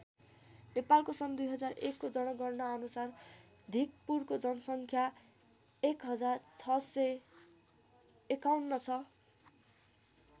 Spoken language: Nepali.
नेपालको सन् २००१को जनगणना अनुसार धिकपुरको जनसङ्ख्या १०६५१ छ।